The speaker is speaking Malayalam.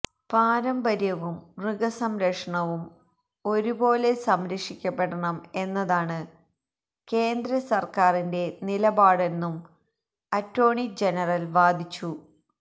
പാരമ്പര്യവും മൃഗസംരക്ഷണവും ഒരുപോലെ സംരക്ഷിക്കപ്പെടണം എന്നതാണ് കേന്ദ്ര സര്ക്കാരിന്റെ നിലപാടെന്നും അറ്റോര്ണി ജനറല് വാദിച്ചു